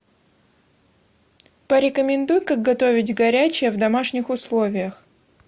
порекомендуй как готовить горячее в домашних условиях